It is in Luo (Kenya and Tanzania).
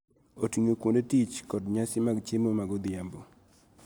Oting�o kuonde tich kod nyasi mag chiemo mag odhiambo.